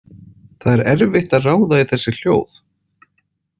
Það er erfitt að ráða í þessi hljóð.